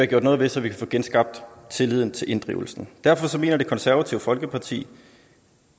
gjort noget ved så vi kan få genskabt tilliden til inddrivelsen derfor mener det konservative folkeparti